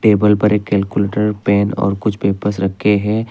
Table पर एक calculator pen कुछ पेपर्स रखे हैं।